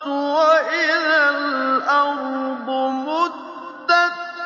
وَإِذَا الْأَرْضُ مُدَّتْ